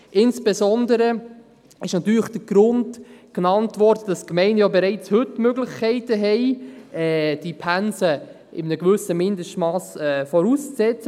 insbesondere wurde natürlich der Grund genannt, dass die Gemeinden ja heute bereits Möglichkeiten haben, die Pensen in einem gewissen Mindestmass vorauszusetzen.